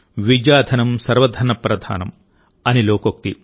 విద్యాధనం సర్వధనప్రధానమ్ అని లోకోక్తి